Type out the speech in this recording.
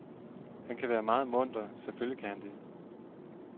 Han kan være meget munter, selvfølgelig kan han det.